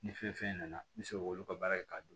Ni fɛn fɛn nana n bɛ se k'olu ka baara kɛ k'a dun